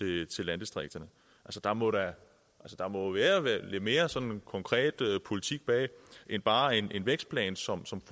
landdistrikterne der må der må være være lidt mere sådan konkret politik bag end bare en vækstplan som som